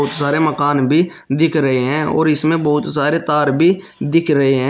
सारे मकान भी दिख रहे है और इसमें बहुत सारे तार भी दिख रहे है।